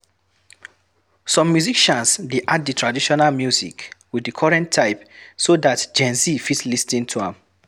Some musicians de add di traditional music with the current type so that GenZ fit lis ten to am